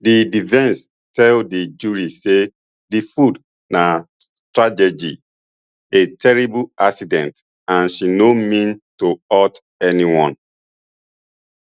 di defence tell di jury say di food na tragedy a terrible accident and she no mean to hurt anyone